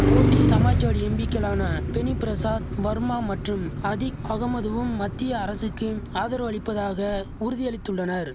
போட்டி சமாஜ்வாடி எம்பிக்களான பெனி பிரசாத் வர்மா மற்றும் அதிக் அகமதுவும் மத்திய அரசுக்கு ஆதரவளிப்பதாக உறுதியளித்துள்ளனர்